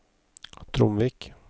Tromvik